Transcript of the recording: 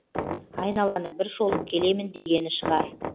айналаны бір шолып келемін дегені шығар